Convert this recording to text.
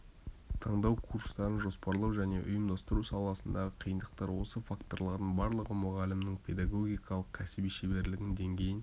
таңдау курстарын жоспарлау және ұйымдастыру саласындағы қиындықтар осы факторлардың барлығы мұғалімнің педагогикалық кәсіби шеберлігінің деңгейін